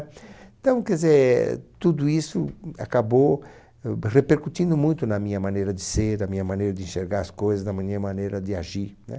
Então, quer dizer, tudo isso acabou repercutindo muito na minha maneira de ser, na minha maneira de enxergar as coisas, na minha maneira de agir. Né